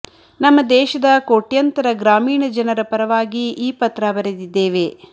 ನಮ್ಮ ದೇಶದ ಕೋಟ್ಯಂತರ ಗ್ರಾಮೀಣ ಜನರ ಪರವಾಗಿ ಈ ಪತ್ರ ಬರೆದಿದ್ದೇವೆ